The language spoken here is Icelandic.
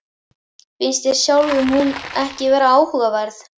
Finnst þér sjálfum hún ekki vera áhugaverð?